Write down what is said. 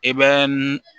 I bɛ n